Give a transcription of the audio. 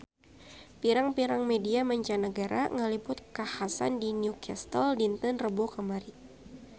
Pirang-pirang media mancanagara ngaliput kakhasan di New Castle dinten Rebo kamari